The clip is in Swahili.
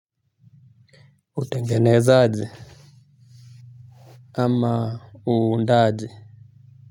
Utengenezaji ama uundaji.